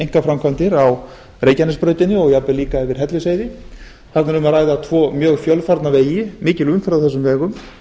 einkaframkvæmdir á reykjanesbrautinni og jafnvel líka yfir hellisheiði þarna er um að ræða tvo mjög fjölfarna vegi það er mikil umferð á þessum vegum